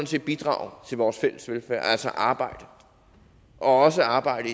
set bidrage til vores fælles velfærd altså arbejde og også arbejde